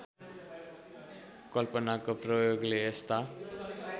कल्पनाको प्रयोगले यस्ता